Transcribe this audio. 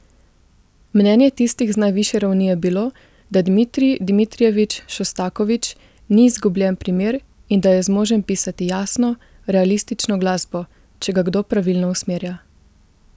Mnenje tistih z najvišje ravni je bilo, da Dmitrij Dmitrijevič Šostakovič ni izgubljen primer in da je zmožen pisati jasno, realistično glasbo, če ga kdo pravilno usmerja.